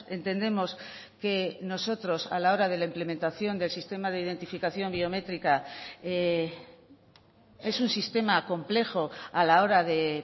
entendemos que nosotros a la hora de la implementación del sistema de identificación biométrica es un sistema complejo a la hora de